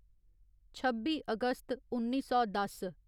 छब्बी अगस्त उन्नी सौ दस